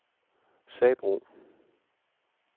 Sabro